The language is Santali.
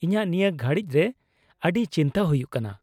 - ᱤᱧᱟᱹᱜ ᱱᱤᱭᱟᱹ ᱜᱷᱟᱹᱲᱤᱡ ᱨᱮ ᱟᱹᱰᱤ ᱪᱤᱱᱛᱟᱹ ᱦᱩᱭᱩᱜ ᱠᱟᱱᱟ ᱾